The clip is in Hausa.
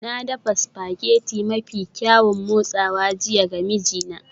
Na dafa spaghetti mafi kyaun motsawa jiya ga mijina